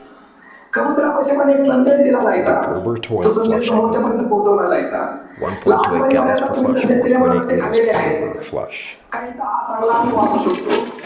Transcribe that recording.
कबुतरापाशी पण एक संदेश दिला जायचा. तो संदेश समोरच्यापर्यंत पोहोचवला जायचा. लहानपणी बऱ्याचदा तुम्ही संदेश दिल्यामुळे रट्टे खालेले आहेत. काहींचा हा चांगला अनुभव असू शकतो.